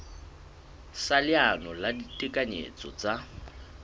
sa leano la ditekanyetso tsa